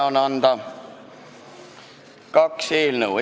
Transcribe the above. Üle on anda kaks eelnõu.